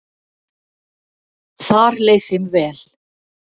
Þar leið þeim vel.